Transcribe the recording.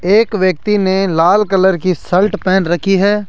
एक व्यक्ति ने लाल कलर की शर्ट पेहन रखी है।